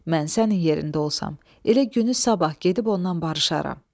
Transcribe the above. Mən sənin yerində olsam, elə günü sabah gedib ondan barışaram.